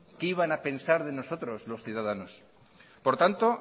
qué iban a pensar de nosotros los ciudadanos por tanto